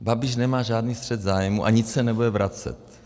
Babiš nemá žádný střet zájmů a nic se nebude vracet.